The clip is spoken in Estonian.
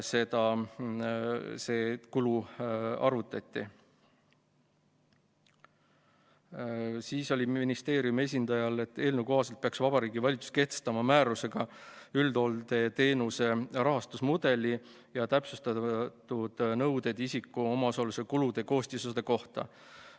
Siis ütles ministeeriumi esindaja, et eelnõu kohaselt peaks Vabariigi Valitsus kehtestama määrusega üldhooldusteenuse rahastusmudeli ja täpsustatud nõuded isiku omaosaluse kulude koostisosade kohta.